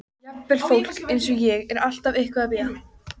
Jafnvel fólk eins og ég er alltaf eitthvað að bíða.